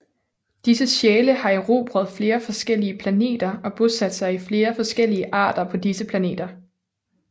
Disse sjæle har erobret flere forskellige planeter og bosat sig i flere forskellige arter på disse planeter